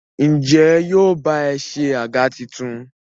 Ǹjẹ́ yóò ba ẹ se àga tuntun?